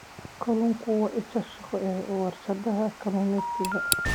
Kalluunku waa isha shaqo ee warshadaha kalluumeysiga.